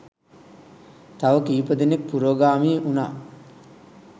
තව කීප දෙනෙක් පුරෝගාමී උණා.